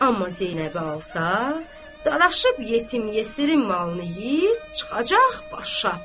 Amma Zeynəbi alsa, Dadaşıb Yetim Yesirin malını yeyib çıxacaq başa.